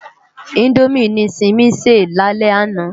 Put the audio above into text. Indómi ni Simi sé lálè àná